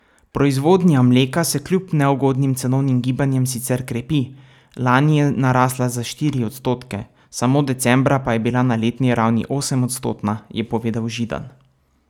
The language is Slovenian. Proizvodnja mleka se kljub neugodnim cenovnim gibanjem sicer krepi, lani je narasla za štiri odstotke, samo decembra pa je bila na letni ravni osemodstotna, je povedal Židan.